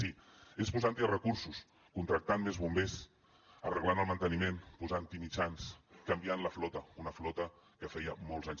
sí és posant hi recursos contractant més bombers arreglant el manteniment posant hi mitjans canviant la flota una flota que feia molts anys